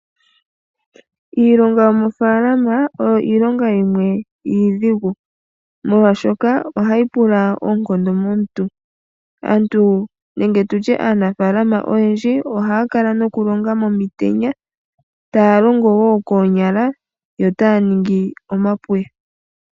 Iilonga yomofaalama oyo iilonga yimwe iidhigu molwaashoka ohayi pula oonkondo momuntu . Aantu nenge aanafaalama oyendji ohaya kala nokulonga momitenya, taya longo wo noonyala , yo taya ningi omapuya.